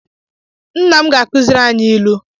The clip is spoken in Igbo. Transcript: Nna m ga-akuziri anyị ilu